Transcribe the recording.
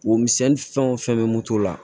Womisɛnni fɛn o fɛn bɛ moto la